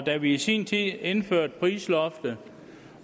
da vi i sin tid indførte prisloftet